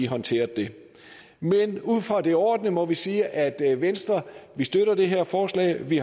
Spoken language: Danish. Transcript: håndteret det men ud fra det overordnede må vi sige at at venstre støtter det her forslag vi